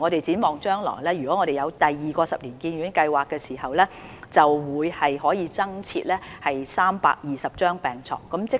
展望將來，當第二期發展計劃落實後，便可以增設320張病床。